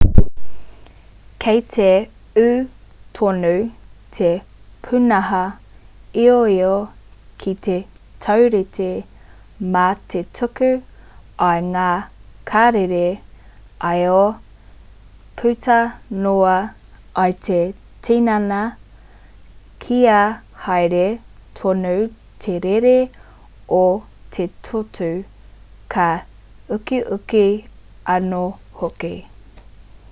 kei te ū tonu te pūnaha ioio ki te taurite mā te tuku i ngā karere io puta noa i te tinana kia haere tonu te rere o te toto ka ukiuki anō hoki